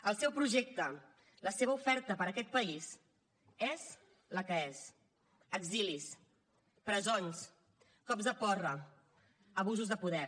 el seu projecte la seva oferta per a aquest país és la que és exilis presons cops de porra abusos de poder